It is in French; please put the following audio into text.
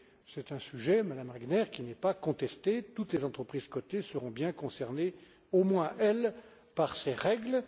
C'est un sujet, Mme Regner, qui n'est pas contesté, toutes les entreprises cotées seront bien concernées, au moins elles, par ces règles.